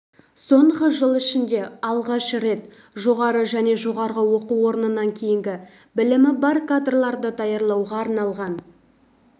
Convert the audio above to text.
соңғы жыл ішінде алғаш рет жоғары және жоғары оқу орнынан кейінгі білімі бар кадрларды даярлауға арналған